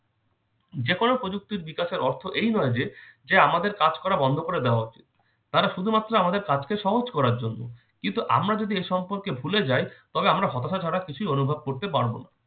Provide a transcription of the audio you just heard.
যেকোন প্রযুক্তির বিকাশের অর্থ এই নয় যে, যে আমাদের কাজ করে দেওয়া বন্ধ করে দেওয়া উচিত। তারা শুধুমাত্র আমাদের কাজকে সহজ করার জন্য। কিন্তু আমরা যদি এ সম্পর্কে ভুলে যাই তবে আমরা হতাশা ছাড়া কিছুই অনুভব করতে পারবো না।